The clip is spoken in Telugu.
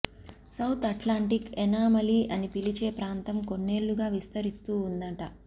సౌత్ అట్లాంటిక్ ఎనామలీ అని పిలిచే ప్రాంతం కొన్నేళ్లుగా విస్తరిస్తూ ఉందంట